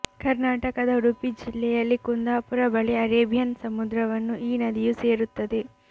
ಕರ್ನಾಟಕದ ಉಡುಪಿ ಜಿಲ್ಲೆಯಲ್ಲಿ ಕುಂದಾಪುರ ಬಳಿ ಅರೇಬಿಯನ್ ಸಮುದ್ರವನ್ನು ಈ ನದಿಯು ಸೇರುತ್ತದೆ